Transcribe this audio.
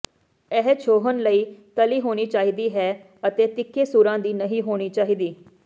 ਇਹ ਛੋਹਣ ਲਈ ਤਲੀ ਹੋਣੀ ਚਾਹੀਦੀ ਹੈ ਅਤੇ ਤਿੱਖੇ ਸੂਰਾਂ ਦੀ ਨਹੀਂ ਹੋਣੀ ਚਾਹੀਦੀ